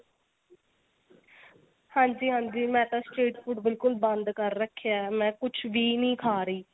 ਹਾਂਜੀ ਹਾਂਜੀ ਮੈਂ ਤਾਂ street food ਬਿਲਕੁਲ ਬੰਦ ਕ਼ਰ ਰੱਖਿਆ ਮੈਂ ਕੁੱਝ ਵੀ ਨੀ ਖਾ ਰਹੀ